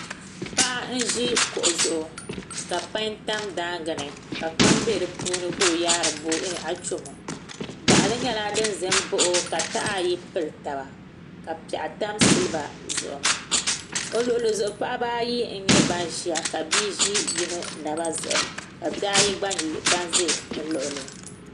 Paɣa n ʒi kuɣu zuɣu ka pai tam daangi ni ka kpam bɛ di puuni ka o yaari achomo gaɣali nyɛla din ʒɛ n baɣa o ka taha ayi pili taba ka piɛɣu tam silba zuɣu o luɣuli zuɣu paɣaba ayi n nyɛ ban ʒiya ka bia ʒi yino naba zuɣu ka bihi ayi gba nyɛ ban ʒɛ bi luɣuli